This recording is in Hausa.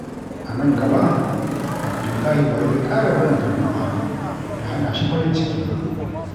A nan gaba, Abdullahi ba zai ƙara barin fargaba ta hana shi farin ciki ba.